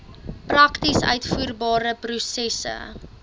prakties uitvoerbare prosesse